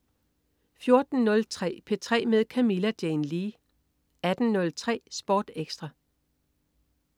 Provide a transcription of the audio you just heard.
14.03 P3 med Camilla Jane Lea 18.03 Sport Ekstra